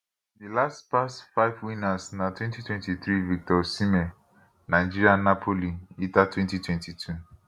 di last past five winners na 2023 victor osimhen nigeria napoli ita 2022